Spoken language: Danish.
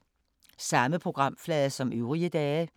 Samme programflade som øvrige dage